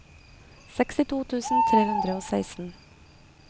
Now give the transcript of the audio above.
sekstito tusen tre hundre og seksten